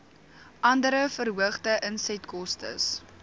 andere verhoogde insetkostes